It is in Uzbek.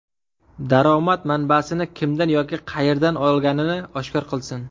Daromad manbasini kimdan yoki qayerdan olganini oshkor qilsin.